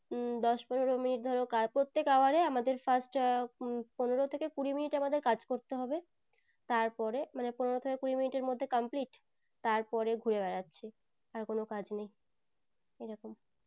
উম দশ পনেরো মিনিট ধরো কাজ প্রত্যেক hour এই first পনেরো থেকে কুড়ি মিনিট আমাদের কাজ করতে হবে তারপরে পনের থেকে কুড়ি মিনিটের মধ্যে complete তারপরে ঘুরে বেড়াচ্ছি আর কোনো কাজ নেই এরকম